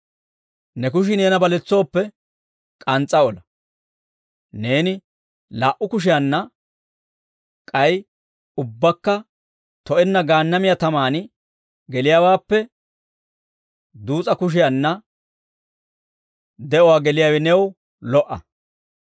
Ne kushii neena baletsooppe, k'ans's'a ola; neeni laa"u kushiyaanna k'ay ubbakka to'enna Gaannamiyaa tamaan geliyaawaappe, duus'a kushiyaanna de'uwaa geliyaawe new lo"a.